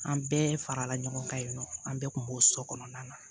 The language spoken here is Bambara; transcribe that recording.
An bɛɛ farala ɲɔgɔn kan yen nɔ an bɛɛ tun b'o so kɔnɔna na